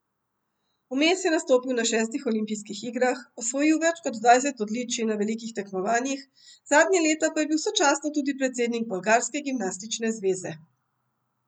Vmes je nastopil na šestih olimpijskih igrah, osvojil več kot dvajset odličij na velikih tekmovanjih, zadnja leta pa je bil sočasno tudi predsednik bolgarske gimnastične zveze.